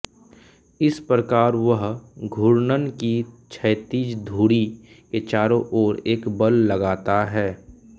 इस प्रकार वह घूर्णक की क्षैतिज धुरी के चारों ओर एक बल लगाता है